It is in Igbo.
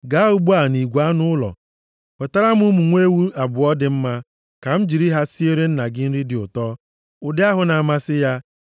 Gaa ugbu a nʼigwe anụ ụlọ wetara m ụmụ nwa ewu abụọ dị mma ka m jiri ha siere nna gị nri dị ụtọ, ụdị ahụ na-amasị ya.